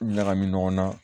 Ɲagami ɲɔgɔn na